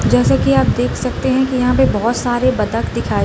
जैसे की आप देख सकते हैं की यहाँ पे बहोत सारे बतक दिखाई --